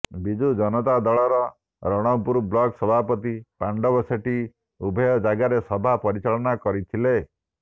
ବିଜୁ ଜନତା ଦଳର ରଣପୁର ବ୍ଲକ ସଭାପତି ପାଣ୍ଡବ ସେଠୀ ଉଭୟ ଜାଗାରେ ସଭା ପରିଚାଳନା କରିଥିଲେ